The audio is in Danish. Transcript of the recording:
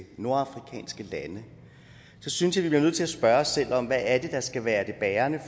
nordafrikanske lande så synes jeg vi blive nødt til at spørge os selv om hvad det er der skal være det bærende